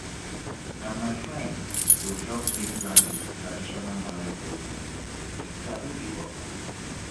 na my friend go help me plan di traditional marriage ceremony she sabi di work